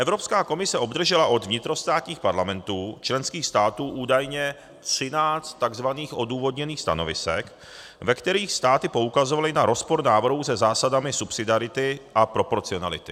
Evropská komise obdržela od vnitrostátních parlamentů členských států údajně 13 tzv. odůvodněných stanovisek, ve kterých státy poukazovaly na rozpor návrhů se zásadami subsidiarity a proporcionality.